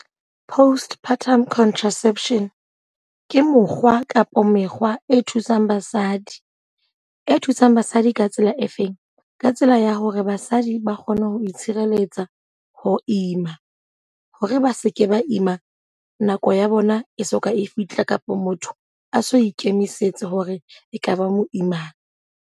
Postpartum contraception, ke mokgwa kapa mekgwa e thusang basadi. E thusang basadi ka tsela e feng? Ka tsela ya hore basadi ba kgone ho ho itshireletsa ho ima. Hore ba seke ba ima nako ya bona e soka e fihla, kapa motho a so ikemisetse hore e ka ba moimana.